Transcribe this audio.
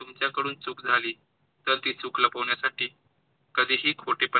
तुमच्या कडून चूक झाली तर ती चूक लपवण्यासाठी कधी ही खोटेपणा